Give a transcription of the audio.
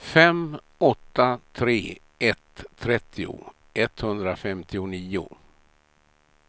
fem åtta tre ett trettio etthundrafemtionio